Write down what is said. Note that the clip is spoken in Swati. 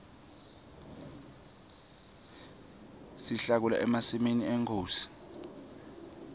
sihlakula emasimi enkhosi